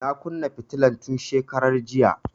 Na kunna fitilan tun shekaran jiya